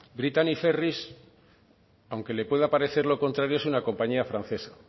brittany ferries aunque le pueda parecer lo contrario es una compañía francesa